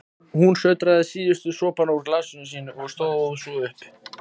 Hún sötraði síðustu sopana úr glasinu sínu og stóð svo upp.